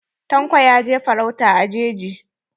Tanko ya je farauta a jeji.